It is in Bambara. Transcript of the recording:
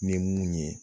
Ni mun ye